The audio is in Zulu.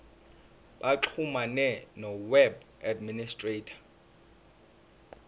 baxhumane noweb administrator